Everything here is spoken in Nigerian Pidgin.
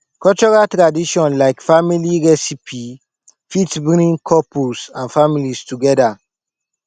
cultural tradition like family recipie fit bring couples and families together